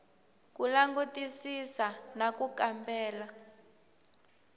ku langutisisa na ku kambela